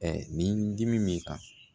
nin dimi b'i kan